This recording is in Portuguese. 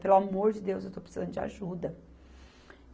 Pelo amor de Deus, eu estou precisando de ajuda.